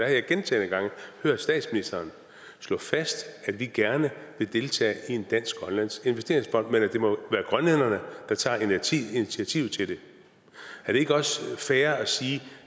jeg gentagne gange hørt statsministeren slå fast at vi gerne vil deltage i en dansk grønlandsk investeringsfond men at det må være grønlænderne der tager initiativet til det er det ikke også fair at sige